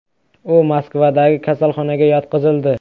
U Moskvadagi kasalxonaga yotqizildi.